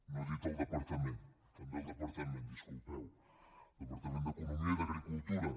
no he dit el departament també el departament disculpeu el departament d’economia i d’agricultura